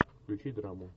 включи драму